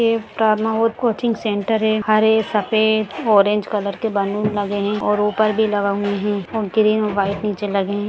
एक coaching centre है हरे सफेद ऑरेंज कलर के बलून लगे हैं और ऊपर भी लगे हुए हैं ग्रीन वाइट नीचे लगे हैं।